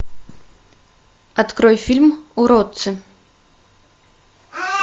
открой фильм уродцы